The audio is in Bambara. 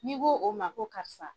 N'i ko o ma ko karisa